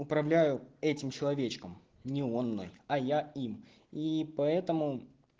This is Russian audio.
управляю этим человечком не он мной а я им и поэтому